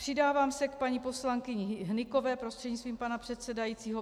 Přidávám se k paní poslankyni Hnykové prostřednictvím pana předsedajícího.